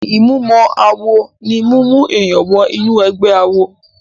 Ìmúmọ-awọ ní mímú èèyàn wọ inú ẹ̀gbẹ́ awo.